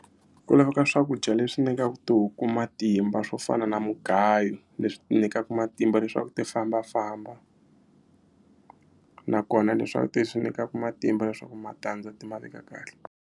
Ku laveka ka swakudya leswi nyikaka tihuku matimba swo fana na mugayo leswi ti nyikaka matimba leswaku ti fambafamba nakona leswaku ti swi nyikaka matimba leswaku matandza ti ma veka kahle.